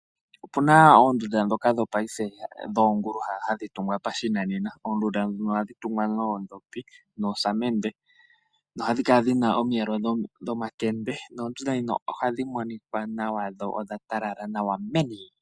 Opuna oondunda dhoka dhopaife dhoongulu hadhi tungwa pashinanena. Oondunda dhono ohadhi tungwa noondhopi nosamende, no hadhi kala dhina omiyelo dhomakende. Noondunda dhino ohadhi monika nawa dho odha talala nawa meni.